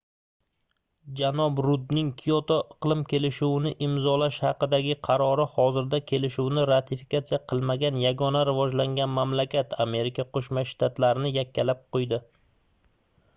janob rudning kioto iqlim kelishuvini imzolash haqidagi qarori hozirda kelishuvni ratifikatsiya qilmagan yagona rivojlangan mamlakat amerika qoʻshma shtatlarini yakkalab qoʻydi